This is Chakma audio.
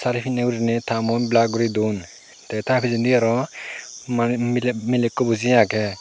sari pinne gorinay ta mun blur gori dun te taa pijendi aro manuj milay ekko boji aage.